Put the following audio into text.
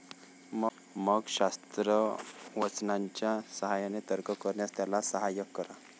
मग शास्त्रवचनांच्या साहाय्याने तर्क करण्यास त्याला साहाय्य करा.